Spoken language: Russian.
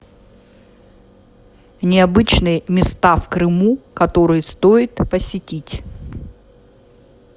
необычные места в крыму которые стоит посетить